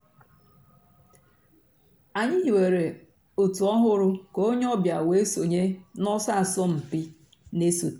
ànyị̀ hìwèrè ọ̀tù òhụ́rù kà ònyè ọ̀ bịa wée sọǹyé n'ọ̀sọ̀ àsọ̀mpị̀ nà-èsọ̀té.